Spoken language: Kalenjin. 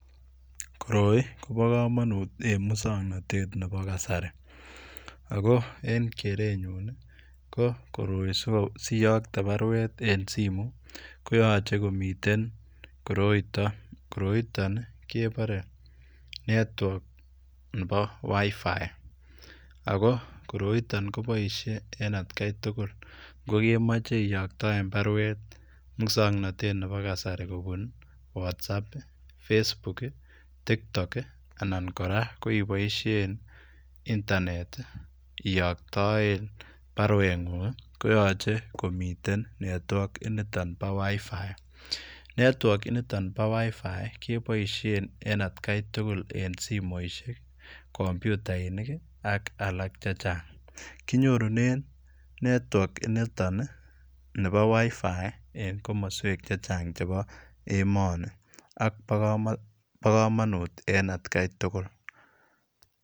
Koroi Kobo kamanut en musangnatet nebo kasari ago en keretnyuun ii ko koroi siyaktei baruet en [simu] koyachei komiteen koroitai koroitaan ii kebare network nebo [WiFi] ago koroitaan kobaisheen en at gai tugul ko kemache iyaktaen baruet musangnatet ab kasari kobuun [what's app] [Facebook] [TikTok] anan kora ibaisheen [internet] iyaktaen baruet nguung koyachei komiteen [network] initoon bo [wifi] kebaisheen en at gai tugul en simoisiek kompyutainik ii ak alaak chechaang kinyoruneen network initoon ii nebo [WiFi] en komosweek chechaang chebo emanii ak bo kamanut en at gai tugul.